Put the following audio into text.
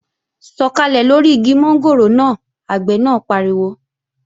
Sọ̀kàlẹ̀ lóri igi mọ́ngòrò náà! Àgbẹ̀ náà pariwo